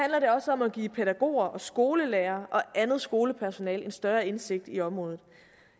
om at give pædagoger og skolelærere og andet skolepersonale en større indsigt i området